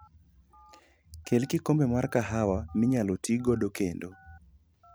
Kel kikombe mar kahawa minyalo ti godo kendo.